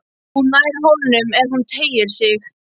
Hún nær honum ef hún teygir sig.